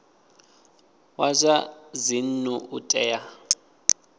wa zwa dzinnu u tea